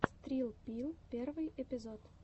срилл пилл первый эпизод